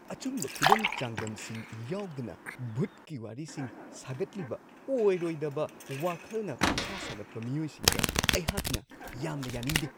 ꯑꯆꯨꯝꯕ ꯈꯨꯗꯝ-ꯆꯥꯡꯗꯝꯁꯤꯡ ꯌꯥꯎꯗꯅ ꯚꯨꯠꯀꯤ ꯋꯥꯔꯤꯁꯤꯡ ꯁꯥꯒꯠꯂꯤꯕ ꯑꯣꯏꯔꯣꯏꯗꯕ ꯋꯥꯈꯜꯅ ꯄꯪꯁꯥ-ꯁꯥꯒꯠꯄ ꯃꯤꯑꯣꯏꯁꯤꯡꯗ ꯑꯩꯍꯥꯛꯅ ꯌꯥꯝꯅ ꯌꯥꯅꯤꯡꯗꯦ ꯫